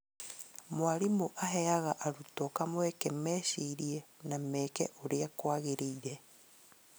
Mwarimũ aheaga arutwo kamweke mecirie na meke ũrĩa kwagĩrĩire